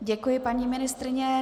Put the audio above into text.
Děkuji, paní ministryně.